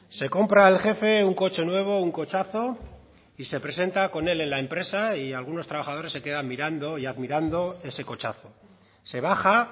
se compra el jefe un coche nuevo un cochazo y se presenta con él en la empresa y algunos trabajadores se quedan mirando y admirando ese cochazo se baja